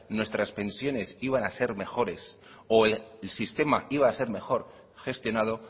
nuestras pensiones iban a ser mejores o el sistema iba a ser mejor gestionado